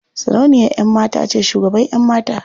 Sarauniyan ƴan mata ce shugaban ƴan mata.